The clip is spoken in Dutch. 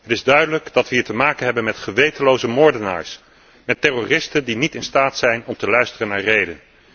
Het is duidelijk dat we hier te maken hebben met gewetenloze moordenaars, met terroristen die niet in staat zijn om te luisteren naar rede.